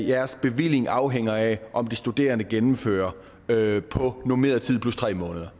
deres bevilling afhænger af om de studerende gennemfører på normeret tid plus tre måneder